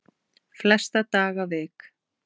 Flesta daga vik